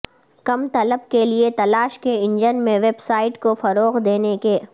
کم طلب کے لئے تلاش کے انجن میں ویب سائٹ کو فروغ دینے کے